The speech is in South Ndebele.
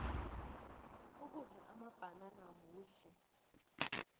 ukudla amabhanana kuhle